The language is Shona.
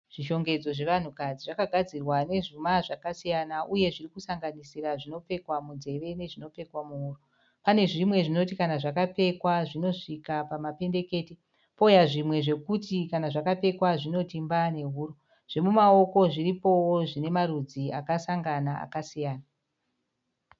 Zvishongedzo zvevanhukadzi. Zvakagdzirwa nezvuma zvakasiyana uye zviri kusanganisira zvinopfekwa munzeve nezvinopfekwa muhuro. Pane zvimwe zvinoti kana zvakapfekwa zvinosvika pamapendekete pouya zvimwe zvokuti kana zvakapfekwa zvinoti mbaa nehuro. Zvemumaoko zviripowo zvine marudzi akasangana akasiyana.